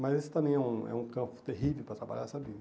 Mas esse também é um é um campo terrível para trabalhar, sabe?